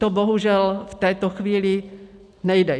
To bohužel v této chvíli nejde.